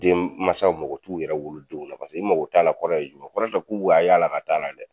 Den mansaw mako t'u yɛrɛ wolo denw na paseke i mako t'a la kɔrɔ ye jumɛn ye ? o kɔrɔ tɛ k'u b'a y'a la ka d'a la dɛ.